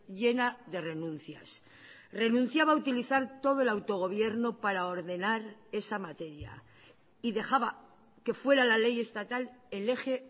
llena de renuncias renunciaba a utilizar todo el autogobierno para ordenar esa materia y dejaba que fuera la ley estatal el eje